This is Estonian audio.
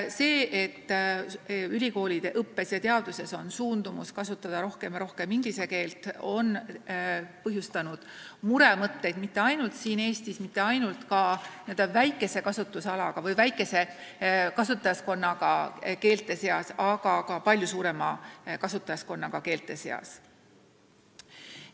See, et ülikoolide õppes ja teadustöös on suundumus kasutada aina rohkem inglise keelt, on põhjustanud muremõtteid mitte ainult Eestis, mitte ainult maades, mille riigikeele kasutajaskond on väike, vaid ka palju suuremates riikides.